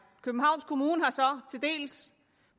københavns kommune har så til dels